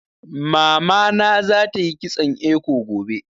Mamana za ta yi kitson eko gobe